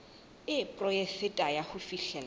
e poraefete ya ho fihlella